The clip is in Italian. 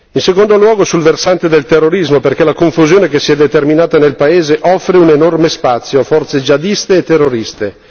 In secondo luogo sul versante del terrorismo, perché la confusione che si è determinata nel paese offre un enorme spazio a forze jihadiste e terroriste.